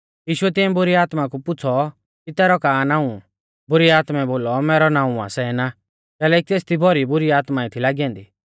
यीशुऐ तिऐं बुरी आत्मा कु पुछ़ौ कि तैरौ का नाऊं बुरी आत्मै बोलौ मैरौ नाऊं आ सेना कैलैकि तेसदी भौरी बुरी आत्मा थी लागी ऐन्दी